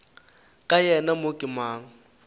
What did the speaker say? ka yena mo ke mang